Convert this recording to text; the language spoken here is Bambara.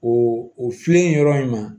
O o filen yɔrɔ in ma